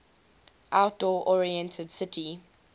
outdoor oriented city